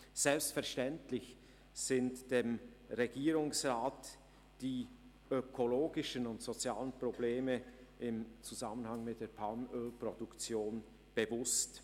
Selbstverständlich sind dem Regierungsrat die ökologischen und sozialen Probleme im Zusammenhang mit der Palmölproduktion bewusst.